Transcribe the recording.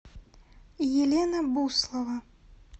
елена буслова